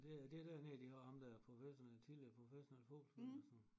Det det er dernede de har ham der professionel tidligere professionel fodboldspiller eller sådan